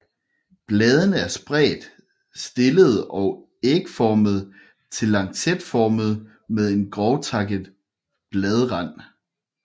Bladene er spredt stillede og ægformede til lancetformede med en grovtakket bladrand